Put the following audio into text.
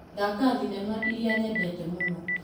Thaka thinema ĩrĩa nyendete mũno .